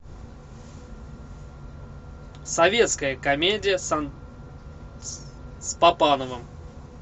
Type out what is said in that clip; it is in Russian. советская комедия с папановым